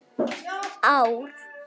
Olíuverð ekki hærra í tvö ár